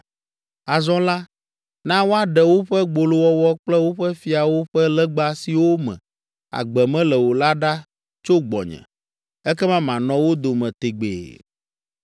Azɔ la, na woaɖe woƒe gbolowɔwɔ kple woƒe fiawo ƒe legba siwo me agbe mele o la ɖa tso gbɔnye, ekema manɔ wo dome tegbee.